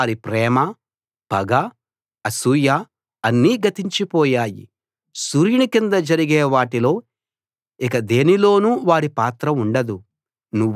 వారి ప్రేమ పగ అసూయ అన్నీ గతించి పోయాయి సూర్యుని కింద జరిగే వాటిలో ఇక దేనిలోనూ వారి పాత్ర ఉండదు